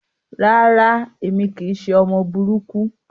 Rárá, èmi kìí ṣe ọmọ burúkú.